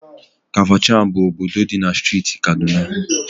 Kafachan bụ obodo dị na Steeti Kaduna.